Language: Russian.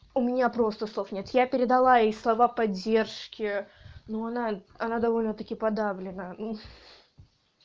у меня просто слов нет я передала ей слова поддержки но она она довольно-таки подавлена